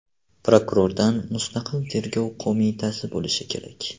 Prokurordan mustaqil tergov qo‘mitasi bo‘lishi kerak.